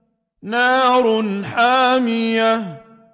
نَارٌ حَامِيَةٌ